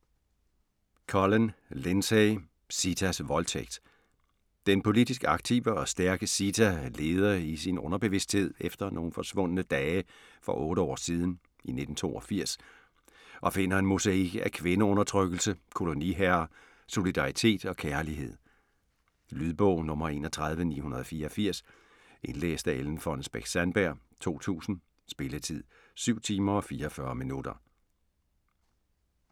Collen, Lindsey: Sitas voldtægt Den politisk aktive og stærke Sita leder i sin underbevidsthed efter nogle forsvundne dage for otte år siden, i 1982, og finder en mosaik af kvindeundertrykkelse, koloniherrer, solidaritet og kærlighed. Lydbog 31984 Indlæst af Ellen Fonnesbech-Sandberg, 2000. Spilletid: 7 timer, 44 minutter.